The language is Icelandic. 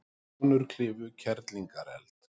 Konur klifu Kerlingareld